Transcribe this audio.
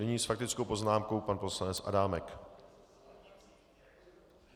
Nyní s faktickou poznámkou pan poslanec Adámek.